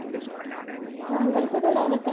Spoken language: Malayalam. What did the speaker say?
സാങ്കൽപ്പിക ലോകത്തിൽ